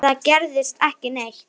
Ég tæmist.